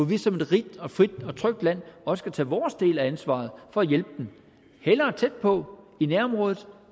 vi som et rigt og frit og trygt land også tage vores del af ansvaret for at hjælpe dem hellere tæt på i nærområdet